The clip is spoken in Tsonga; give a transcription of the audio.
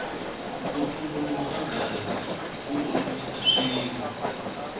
ku tumbuluka ka gezi ku olovise swilo